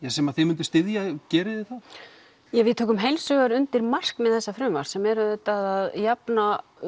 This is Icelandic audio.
sem þið mynduð styðja gerið þið það við tökum heilshugar undir markmið þessa frumvarps sem er að jafna